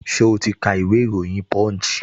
Ṣẹ́ o ti ka ìwé ìròyìn punch?